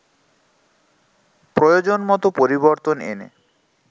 প্রয়োজন মতো পরিবর্তন এনে